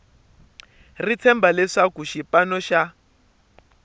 ri tshemba leswaku xipano xa